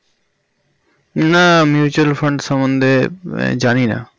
না mutual fund সম্বন্ধে জানি না